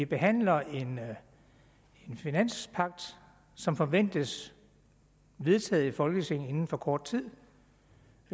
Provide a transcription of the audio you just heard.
behandler en finanspagt som forventes vedtaget i folketinget inden for kort tid